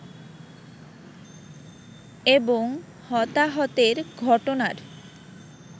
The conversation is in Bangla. এবং হতাহতের ঘটনার